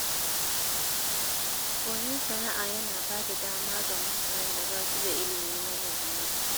Koyon sana’a yana ba da dama ga mutanen da ba su da ilimi na zamani.